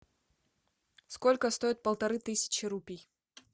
сколько стоит полторы тысячи рупий